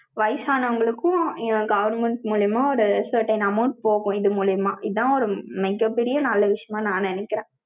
வயசானவங்களுக்கும், government மூலியமா, ஒரு certain amounts போகும், இது மூலியமா இதான் ஒரு மிகப் பெரிய நல்ல விஷயமா நான் நினைக்கிறேன்.